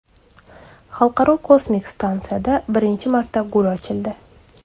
Xalqaro kosmik stansiyada birinchi marta gul ochildi.